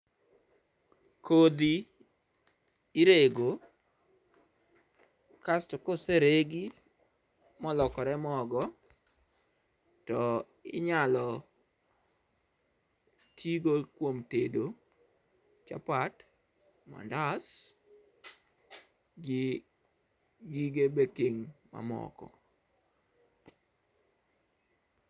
kodhi irego kasto koseregi molokore mogo tinyalo tigo kuom tedo chapat, mandas gi gige baking mamoko.